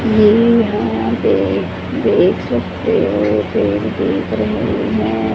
ये यहां पे देख सकते हो पेड़ दिख रहे हैं।